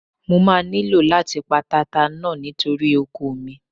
Mo máa nílò láti pa tata náà nítorí oko mi.